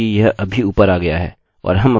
और हम अपना genderलिंग भी यहाँ एन्टर कर सकते हैं